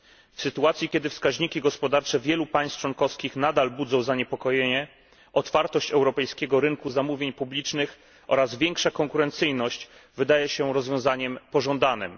W sytuacji, kiedy wskaźniki gospodarcze wielu państw członkowskich nadal budzą zaniepokojenie, otwartość europejskiego rynku zamówień publicznych oraz większa konkurencyjność wydaje się rozwiązaniem pożądanym.